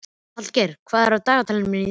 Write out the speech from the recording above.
Hallgeir, hvað er í dagatalinu mínu í dag?